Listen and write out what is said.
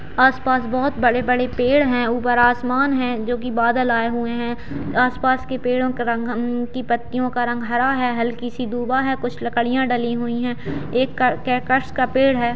आस-पास बहुत बड़े-बड़े पेड़ हैं ऊपर आसमान हैं जो की बादल आये हुए हैं आस-पास के पेड़ो का रंग उनकी पत्तियों का रंग हरा हैं हल्की सी दूबा हैं कुछ लकड़ियाँ डली हुई हैं।